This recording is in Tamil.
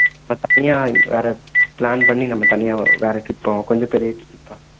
நம்ம தனியா வேற plan பண்ணி நம்ம தனியா வேற trip போலாம் கொஞ்சம் பெரிய trip பா